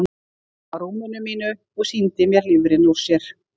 Hún kom að rúminu mínu og sýndi mér lifrina úr sér.